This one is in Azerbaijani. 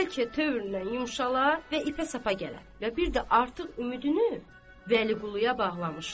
bəlkə tövründən yumşalar və ipə sapa gələr və bir də artıq ümidini Vəliquluya bağlamışdı.